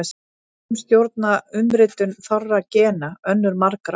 Sum stjórna umritun fárra gena, önnur margra.